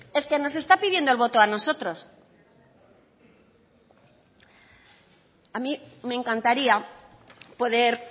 es que nos está pidiendo el voto a nosotros a mí me encantaría poder